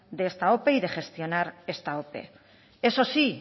de esta ope y de gestionar esta ope eso sí